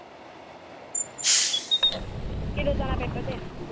ਕਦੋਂ ਜਾਣਾ ਪੇਪਰ ਦੇਣ।